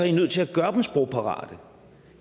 i nødt til at gøre dem sprogparate